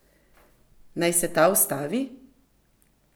Naj se ta ustavi?